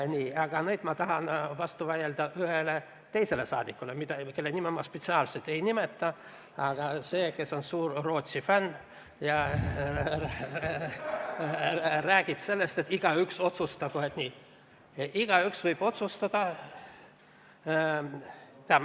Nii, kuid nüüd ma tahan vastu vaielda ühele teisele rahvasaadikule, kelle nime ma spetsiaalselt ei nimeta, aga tegemist on suure Rootsi fänniga ja sellega, kes räägib sellest, et igaüks otsustagu ise.